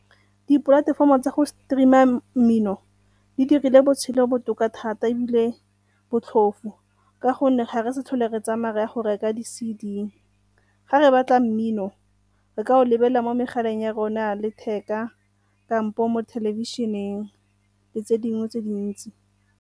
Dipolatefomo tsa go stream-a mmino di dirile botshelo botoka thata ebile botlhofo ka gonne ga re sa tlhole re tsamaya re ya go reka di-C_D. Ga re batla mmino re ka o lebelela mo megaleng ya rona ya letheka kampo mo thelebišeneng le tse dingwe tse dintsi.